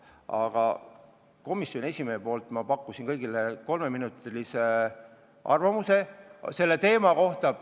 Aga komisjoni esimehena ma pakkusin kõigile öelda kolme minuti jooksul oma arvamus selle teema kohta.